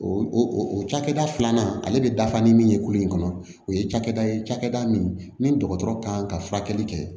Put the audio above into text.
O o o cakɛda filanan ale bɛ dafa ni min ye kulo in kɔnɔ o ye cakɛda ye cakɛda min ni dɔgɔtɔrɔ kan ka furakɛli kɛ